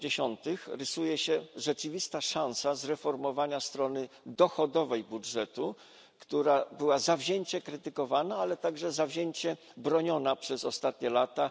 80. rysuje się rzeczywista szansa zreformowania strony dochodowej budżetu, która była zawzięcie krytykowana, ale także zawzięcie broniona przez ostatnie lata.